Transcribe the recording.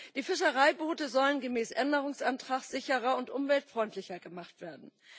Die Fischereiboote sollen gemäß Änderungsantrag sicherer und umweltfreundlicher gemacht werden.